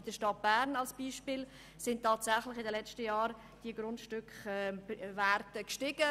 In der Stadt Bern sind die Werte hingegen in den letzten Jahren gestiegen.